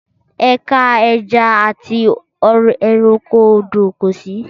Ẹ̀ka ẹja àti ẹranko odò kò sí